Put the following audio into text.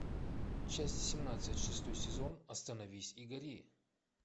часть семнадцать шестой сезон остановись и гори